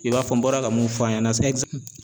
I b'a fɔ n bɔra ka mun fɔ a ɲɛna